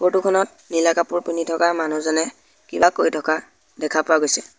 Photo খনত নীলা কাপোৰ পিন্ধি থকা মানুহজনে কিবা কৈ থকা দেখা পোৱা গৈছে।